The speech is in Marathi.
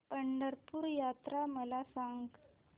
पंढरपूर यात्रा मला सांग